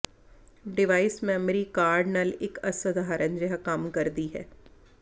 device memory card ਨਾਲ ਇੱਕ ਅਸਧਾਰਨ ਜਿਹਾ ਕੰਮ ਕਰਦੀ ਹੈ